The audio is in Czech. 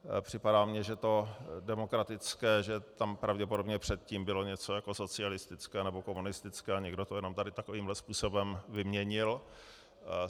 Připadá mně, že to demokratické, že tam pravděpodobně předtím bylo něco jako socialistické nebo komunistické a někdo to jenom tady takovýmhle způsobem vyměnil.